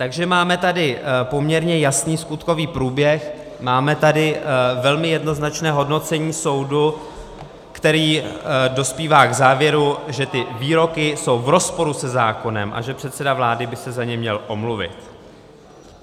Takže máme tady poměrně jasný skutkový průběh, máme tady velmi jednoznačné hodnocení soudu, který dospívá k závěru, že ty výroky jsou v rozporu se zákonem a že předseda vlády by se za ně měl omluvit.